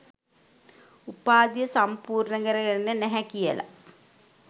උපාධිය සම්පුර්ණ කරගෙන නැහැ කියල